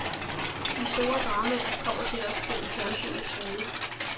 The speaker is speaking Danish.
De store dramaer kommer til os gennem fjernsynets rude.